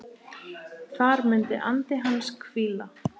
Þar mun andi hans hvíla.